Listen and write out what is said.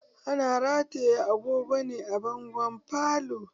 Ana rataya agogo ne a bangon falo